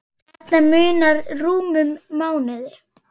Þarna munar rúmum mánuði.